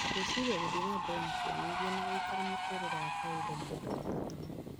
"Gwĩrĩciria gũthiĩ na mbere kũenyihia na gũikara muturĩrĩ wa kawaida nĩ ũndũ wa bata muno.